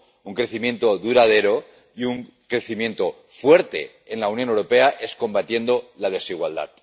un crecimiento duradero y un crecimiento fuerte en la Unión Europea es combatiendo la desigualdad.